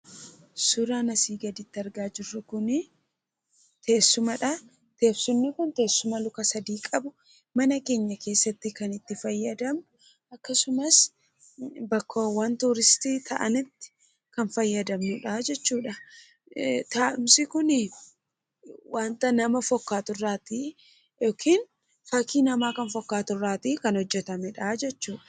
Suuraan asii gaditti argaa jirru teessumadha. Teessumni kun teessuma luka sadii qabu mana keenya keessatti kan itti fayyadamnu akkasumas bakkeewwan turistii ta'anitti kan fayyadamnudha jechuudha. Taa'umsi kun wanta nama fakkaaturraa yookiin fakkii namaa kan fakkaaturraa kan hojjatamedha jechuudha.